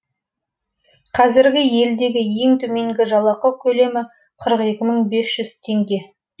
қазіргі елдегі ең төменгі жалақы көлемі қырық екі мың бес жүз теңге